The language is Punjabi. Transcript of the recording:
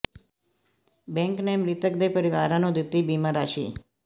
ਬੈਂਕ ਨੇ ਮਿ੍ਤਕ ਦੇ ਪਰਿਵਾਰ ਨੂੰ ਦਿੱਤੀ ਬੀਮਾ ਰਾਸ਼ੀ